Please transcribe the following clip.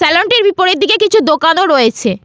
Salon -টির বিপরীত দিকে কিছু দোকানও রয়েছে।